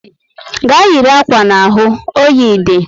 Gaa yiri akwa n'ahụ! oyi dị